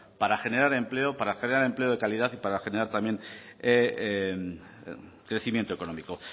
para generar empleo para general empleo de calidad y para generar también crecimiento económico